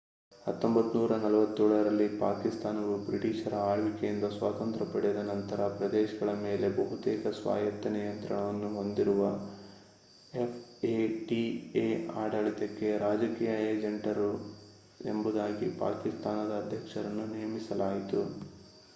1947 ರಲ್ಲಿ ಪಾಕಿಸ್ತಾನವು ಬ್ರಿಟಿಷರ ಆಳ್ವಿಕೆಯಿಂದ ಸ್ವಾತಂತ್ರ್ಯ ಪಡೆದ ನಂತರ ಪ್ರದೇಶಗಳ ಮೇಲೆ ಬಹುತೇಕ ಸ್ವಾಯತ್ತ ನಿಯಂತ್ರಣವನ್ನು ಹೊಂದಿರುವ ಎಫ್ಎಟಿಎ ಆಡಳಿತಕ್ಕೆ ರಾಜಕೀಯ ಏಜೆಂಟರು ಎಂಬುದಾಗಿ ಪಾಕಿಸ್ತಾನದ ಅಧ್ಯಕ್ಷರನ್ನು ನೇಮಿಸಲಾಯಿತು